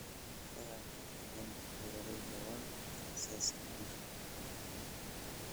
Fahamka qiyamka beeralaydu waa aasaaska guusha.